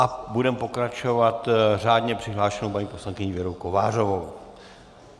A budeme pokračovat řádně přihlášenou paní poslankyní Věrou Kovářovou.